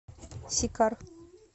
сикар